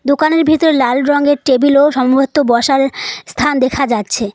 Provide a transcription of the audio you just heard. দোকানের ভিতরে লাল রঙের টেবিল ও সম্ভবত বসার স্থান দেখা যাচ্ছে।